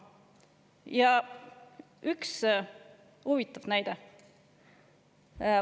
Veel üks huvitav näide.